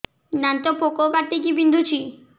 ଦାନ୍ତ ପୋକ କାଟିକି ବିନ୍ଧୁଛି